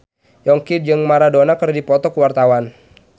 Yongki jeung Maradona keur dipoto ku wartawan